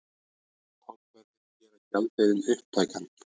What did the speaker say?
Tollverðir gera gjaldeyrinn upptækan